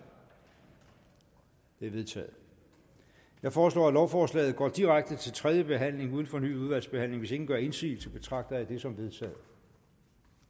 det er vedtaget jeg foreslår at lovforslaget går direkte til tredje behandling uden fornyet udvalgsbehandling hvis ingen gør indsigelse betragter jeg dette som vedtaget